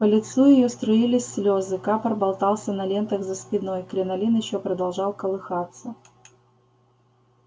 по лицу её струились слёзы капор болтался на лентах за спиной кринолин ещё продолжал колыхаться